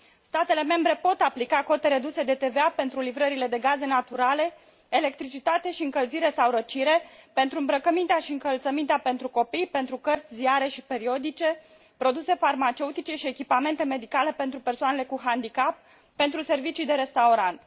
Statele membre pot aplica cote reduse de TVA pentru livrările de gaze naturale, electricitate și încălzire sau răcire, pentru îmbrăcămintea și încălțămintea pentru copii, pentru cărți, ziare și periodice, produse farmaceutice și echipamente medicale pentru persoanele cu handicap, pentru servicii de restaurant.